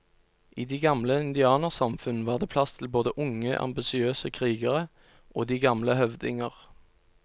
I de gamle indianersamfunn var det plass til både unge, ambisiøse krigere og de gamle høvdinger.